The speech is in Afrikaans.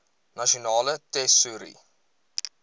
nasionale tesourie